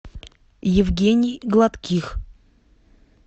евгений гладких